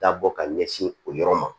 Dabɔ ka ɲɛsin o yɔrɔ ma